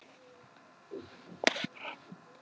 Það hrærist ennþá eitthvað þarna inni.